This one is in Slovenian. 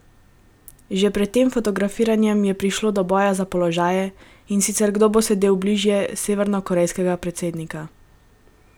Že pred tem fotografiranjem je prišlo do boja za položaje, in sicer kdo bo sedel bliže severnokorejskega predsednika.